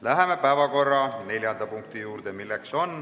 Läheme päevakorra neljanda punkti juurde.